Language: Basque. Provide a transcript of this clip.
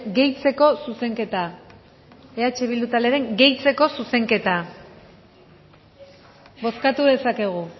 gehitzeko zuzenketa bozkatu dezakegu